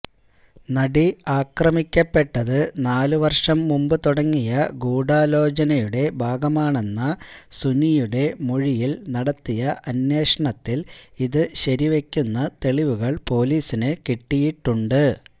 നടി ആക്രമിക്കപ്പെട്ടത് നാലുവര്ഷം മുമ്പു തുടങ്ങിയ ഗൂഢാലോചനയുടെ ഭാഗമാണെന്ന സുനിയുടെ മൊഴിയില് നടത്തിയ അന്വേഷണത്തില് ഇതുശരിവയ്ക്കുന്ന തെളിവുകള് പൊലീസിന് കിട്ടിയിട്ടുണ്ട്